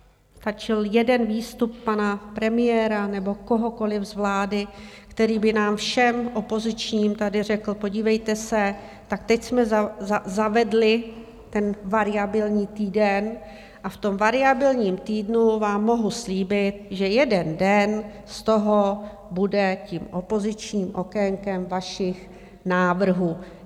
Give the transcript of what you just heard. Stačil jeden výstup pana premiéra nebo kohokoli z vlády, který by nám všem opozičním tady řekl: podívejte se, tak teď jsme zavedli ten variabilní týden a v tom variabilním týdnu vám mohu slíbit, že jeden den z toho bude tím opozičním okénkem vašich návrhů.